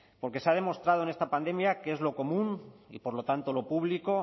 porque se ha demostrado en esta pandemia que es lo común y por lo tanto lo público